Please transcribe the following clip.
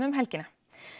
helgina